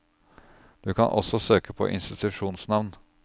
Du kan også søke på institusjonsnavn.